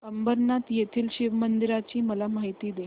अंबरनाथ येथील शिवमंदिराची मला माहिती दे